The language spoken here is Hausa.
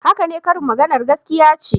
Haka ne, karin maganar gaskiya ce